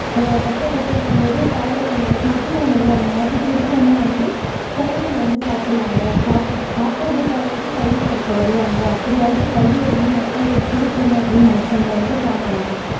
அஹ் கஷ்டப்பட்டு இருக்கும்போது காலை உணவு மதிய உணவு அந்த மாதிரி குடுத்தோம்னா வந்து குழந்தைங்க வந்து சாப்பிடுவாங்க சாப்பிட்டுட்டு சாப்பிடுறதுக்காகவாவது கல்வி கற்க வருவாங்க அப்படியாவது கல்வியை வந்து மக்களுக்கு புகுத்தணும் அப்படின்னு நினைச்சவங்க வந்து காமராஜர்